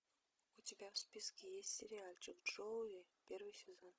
у тебя в списке есть сериальчик джоуи первый сезон